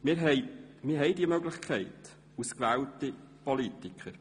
Wir haben diese Möglichkeit als gewählte Politiker.